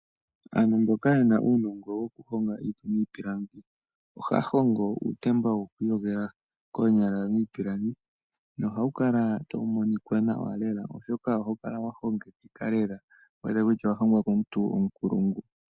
Aantu mboka ye na uunongo wokuhonga niiti niipilangi ohaya hongo uutemba woku iyogela koonyala miipilangi nohawu kala tawu monika nawa lea, oshoka ohawu kala wa hongekeka lela wu wete kutya owa hongwa komuntu onkulungu.